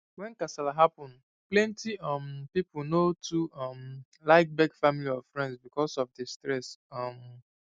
when kasala happen plenty um people no too um like beg family or friends because of the stress um